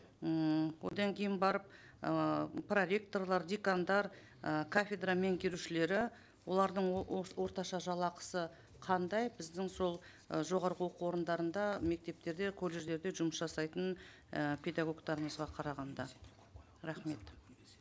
ммм одан кейін барып ыыы проректорлар декандар ы кафедра меңгерушілері олардың орташа жалақысы қандай біздің сол і жоғарғы оқу орындарында мектептерде колледждерде жұмыс жасайтын і педагогтарымызға қарағанда рахмет